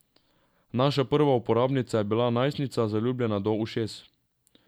Naša prva uporabnica je bila najstnica, zaljubljena do ušes.